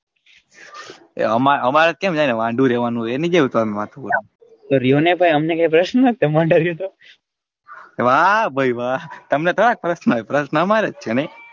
એ અમારે અમારે ક્યાં વાઢુ રેવાનું રયો ને ભાઈ અમને ક્યાં પ્રસન્ન નથ તમે વાંઢા રયો તો વાહ ભાઈ વાહ તમને થોડા પ્રસન્ન હોય પ્રસન્ન અમારે જ છે ને.